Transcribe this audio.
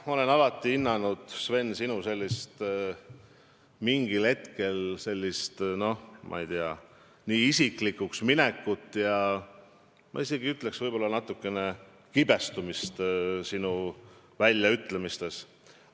Ma olen alati hinnanud, Sven, sinu sellist mingil hetkel, ma ei tea, isiklikuks minekut ja ma isegi ütleks, võib-olla natukene kibestumist oma väljaütlemistes.